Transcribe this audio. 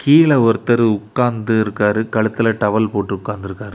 கீழ ஒருத்தரு உட்காந்து இருக்றாரு கழுத்துல டவல் போட்டு உட்காந்திருக்காரு.